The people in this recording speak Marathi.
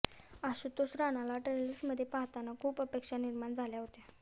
आशुतोष राणाला ट्रेलर्समध्ये पाहताना खूप अपेक्षा निर्माण झाल्या होत्या